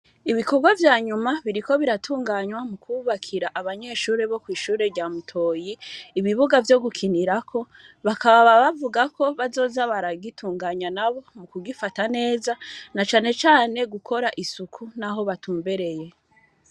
Ibikorwa vyanyuma biriko biratunganywa, mu kwubakira abanyeshure bo kw'ishure rya Mutoyi, ibibuga vyo gukinirako, bakaba bavuga ko, bazoza baragitunganya nabo mu kugifata neza, na cane cane gukora isuku n'aho batumbereye.